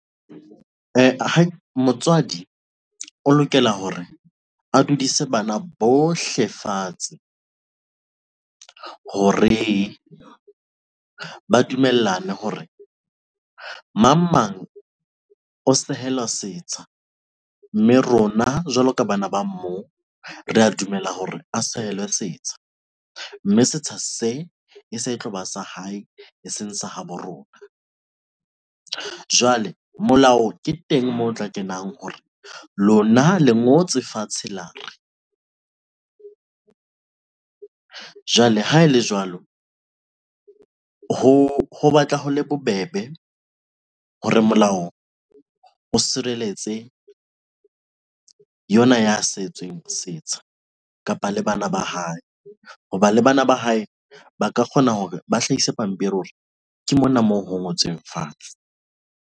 Motswadi o lokela hore a dudise bana bohle fatshe hore ba dumellane hore mang mang o sehela setsha mme rona, jwalo ka bana ba moo, re ya dumela hore a sehelwe setsha, mme setsha se e se e tloba sa hae e seng sa habo rona. Jwale molao ke teng moo o tla kenang hore lona le ngotswe fatshe. Lo re jwale ha ele jwalo ho Ho batla ho le bobebe hore molao o sireletse yona ya sentsweng setsha kapa le bana ba hae, hoba le bana ba hae ba ka kgona hore ba hlahise pampiri hore ke mona moo ho ngotsweng fatshe.